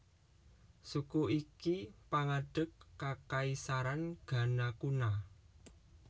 Suku iki pangadeg kakaisaran Ghana kuna